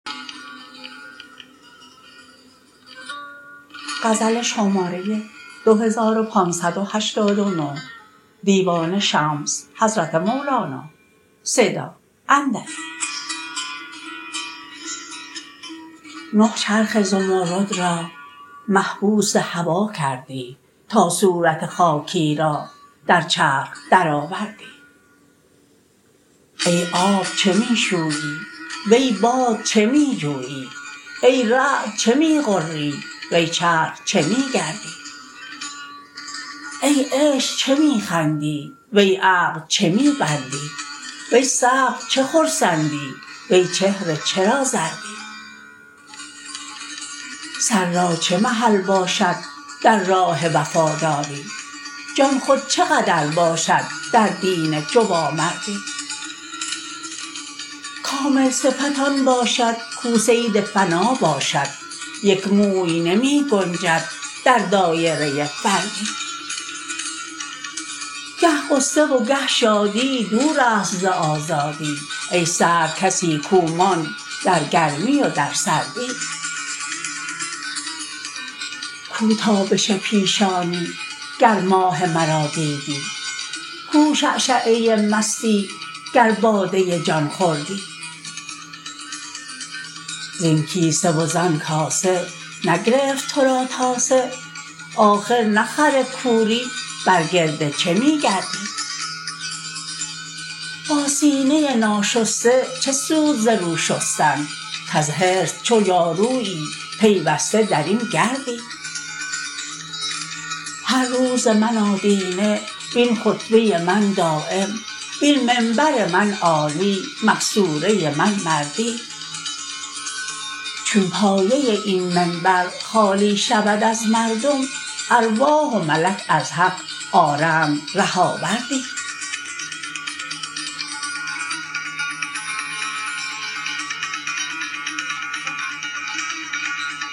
نه چرخ زمرد را محبوس هوا کردی تا صورت خاکی را در چرخ درآوردی ای آب چه می شویی وی باد چه می جویی ای رعد چه می غری وی چرخ چه می گردی ای عشق چه می خندی وی عقل چه می بندی وی صبر چه خرسندی وی چهره چرا زردی سر را چه محل باشد در راه وفاداری جان خود چه قدر باشد در دین جوانمردی کامل صفت آن باشد کو صید فنا باشد یک موی نمی گنجد در دایره فردی گه غصه و گه شادی دور است ز آزادی ای سرد کسی کو ماند در گرمی و در سردی کو تابش پیشانی گر ماه مرا دیدی کو شعشعه مستی گر باده جان خوردی زین کیسه و زان کاسه نگرفت تو را تاسه آخر نه خر کوری بر گرد چه می گردی با سینه ناشسته چه سود ز رو شستن کز حرص چو جارویی پیوسته در این گردی هر روز من آدینه وین خطبه من دایم وین منبر من عالی مقصوره من مردی چون پایه این منبر خالی شود از مردم ارواح و ملک از حق آرند ره آوردی